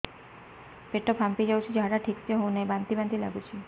ପେଟ ଫାମ୍ପି ଯାଉଛି ଝାଡା ଠିକ ସେ ହଉନାହିଁ ବାନ୍ତି ବାନ୍ତି ଲଗୁଛି